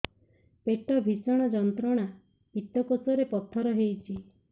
ପେଟ ଭୀଷଣ ଯନ୍ତ୍ରଣା ପିତକୋଷ ରେ ପଥର ହେଇଚି